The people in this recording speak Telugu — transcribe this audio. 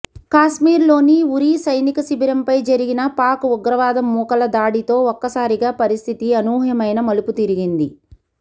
కాశ్మీర్లోని ఉరీ సైనిక శిబిరంపై జరిగిన పాక్ ఉగ్రవాద మూకల దాడితో ఒక్కసారిగా పరిస్థితి అనూహ్యమైన మలుపుతిరిగింది